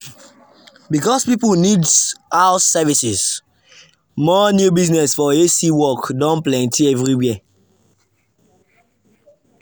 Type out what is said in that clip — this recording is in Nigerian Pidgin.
because people need house services more new business for a/c work don plenty everywhere.